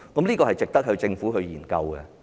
這是值得政府研究的。